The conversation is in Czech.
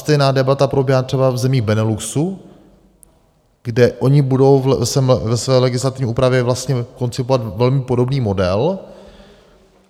Stejná debata probíhá třeba v zemích Beneluxu, kde oni budou ve své legislativní úpravě vlastně koncipovat velmi podobný model.